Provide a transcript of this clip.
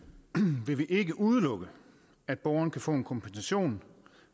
vil vi ikke udelukke at borgeren kan få en kompensation